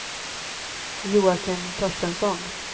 Joakim Torstensson